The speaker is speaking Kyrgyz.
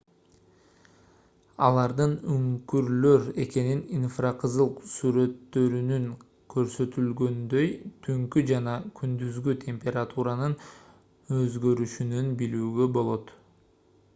алардын үңкүрлөр экенин инфракызыл сүрөттөрүнүндө көрсөтүлгөндөй түнкү жана күндүзгү температуранын өзгөрүшүнөн билүүгө болот